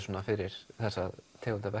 fyrir þessa tegund að